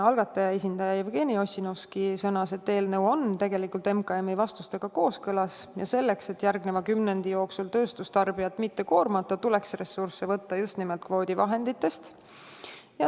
Algataja esindaja Jevgeni Ossinovski sõnas, et eelnõu on tegelikult Majandus- ja Kommunikatsiooniministeeriumi vastustega kooskõlas, ja selleks, et järgneva kümnendi jooksul tööstustarbijat mitte koormata, tuleks ressursse võtta just nimelt kvoodivahenditest.